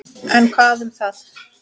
En hvað um það.